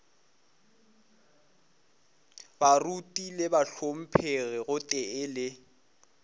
baruti le bahlomphegi gotee le